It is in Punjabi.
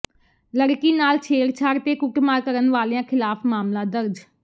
ਲੜਕੀ ਨਾਲ ਛੇੜਛਾੜ ਤੇ ਕੁੱਟਮਾਰ ਕਰਨ ਵਾਲਿਆਂ ਿਖ਼ਲਾਫ਼ ਮਾਮਲਾ ਦਰਜ